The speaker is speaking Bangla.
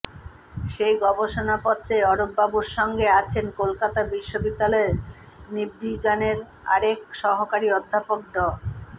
সেই গবেষণাপত্রে অরূপবাবুর সঙ্গে আছেন কলকাতা বিশ্ববিদ্যালয়ের নৃবিজ্ঞানের আরেক সহকারী অধ্যাপক ড